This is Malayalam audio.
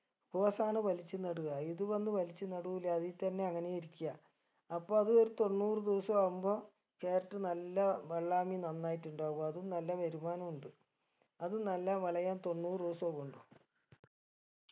rose ആണ് വലിച്ചു നടുക ഇത് വന്ന് വലിച്ചു നടൂല അതീ തന്നെ അങ്ങനേ ഇരിക്ക്യ അപ്പൊ അത് ഒരു തൊണ്ണൂറ് ദിവസൊ ആവുമ്പൊ carrot നല്ല വെള്ളാമി നന്നായിട്ടുണ്ടാവും അതും നല്ല വരുമാനം ഉണ്ട് അത് നല്ല വിളയാൻ തൊണ്ണൂറ് ദിവസോ വേണ്ടു